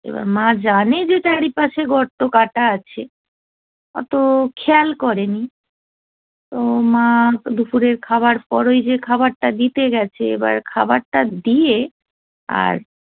এবার মা জানে যে চারিপাশে গর্ত কাটা আছে অত খেয়াল করেনি তো মা দুপুরের খাবার পর ওই যে খাবারটা দিতে গেছে এবার খাবারটা দিয়ে আর